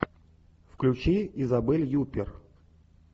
включи изабель юппер